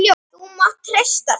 Þú mátt treysta því.